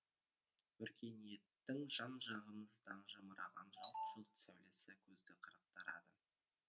өркениеттің жан жағымыздан жамыраған жалт жұлт сәулесі көзді қарықтырады